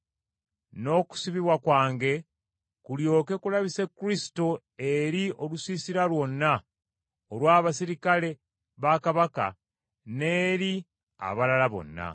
n’okusibibwa kwange kulyoke kulabise Kristo eri olusiisira lwonna olw’abaserikale ba kabaka n’eri abalala bonna.